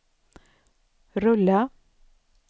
rulla